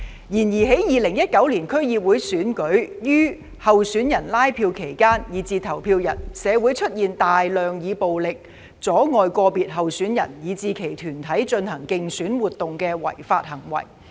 然而，在2019年區議會選舉於候選人拉票期間以至投票日，社會出現大量以暴力阻礙個別候選人以至其團隊進行競選活動的違法行為。